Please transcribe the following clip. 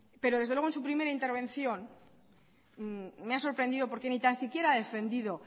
pero desde luego en su primera intervención me ha sorprendido porque ni tan siquiera ha defendido